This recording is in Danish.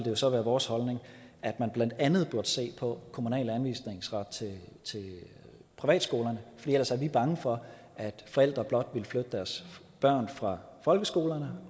jo så være vores holdning at man blandt andet burde se på kommunal anvisningsret til privatskolerne for ellers er vi bange for at forældre blot vil flytte deres børn fra folkeskoler